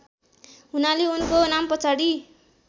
हुनाले उनको नामपछाडि